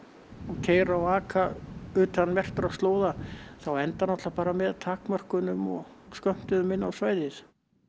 keyra og aka utan merktra slóða þá endar með takmörkunum og skömmtunum inn á svæðið